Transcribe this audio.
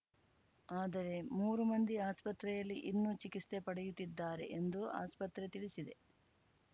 ಆದರೆ ಮೂರು ಮಂದಿ ಆಸ್ಪತ್ರೆಯಲ್ಲಿ ಇನ್ನೂ ಚಿಕಿತ್ಸೆ ಪಡೆಯುತ್ತಿದ್ದಾರೆ ಎಂದು ಆಸ್ಪತ್ರೆ ತಿಳಿಸಿದೆ